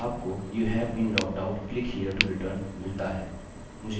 इस पर क्लिक करें और आपको youve been logged out click here to return मिलता है